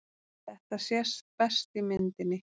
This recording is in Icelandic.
Þetta sést best á myndinni.